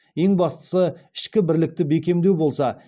ең бастысы ішкі бірлікті бекемдеу болса